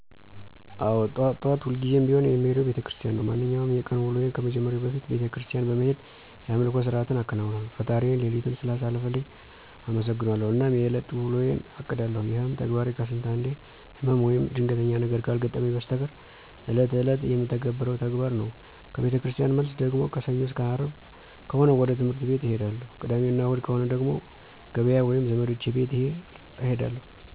አዎ ጠዋት ጠዋት ሁልጊዜም ቢሆን የምሄደው ቤተክርስቲያን ነው። ማንኛውንም የቀን ውሎዬን ከመጀመሬ በፊት ቤተክርስቲያን በመሄድ የአምልኮ ስርዓትን አከናውናለሁ፣ ፈጣሪዬን ሌሊቱን ስላሳለፈልኝ አመሠግነዋለሁ አናም የእለት ውሎዬን አቅዳለሁ። ይሄም ተግባሬ ከስንት አንዴ ህመም ወይም ድንገተኛ ነገር ካልገጠመኝ በስተቀር እለት እለት የምተገብረው ተግባር ነው። ከቤተክርስቲያን መልስ ደግሞ ከሰኞ አስከ አርብ ከሆነ ወደ ትህምርት ቤት እሄዳለሁ። ቅዳሜ እና እሁድ ከሆነ ደግሞ ገበያ ወይም ዘመዶቼ ቤት እሄዳለሁ።